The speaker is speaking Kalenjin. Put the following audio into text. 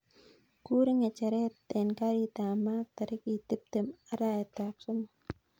Kuur ngecheret en karit ap maat tarikit tiptem araet ap somok